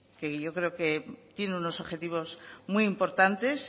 que yo creo que tiene unos objetivos muy importantes